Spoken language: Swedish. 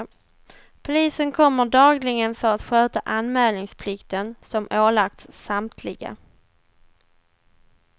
Polisen kommer dagligen för att sköta anmälningsplikten, som ålagts samtliga.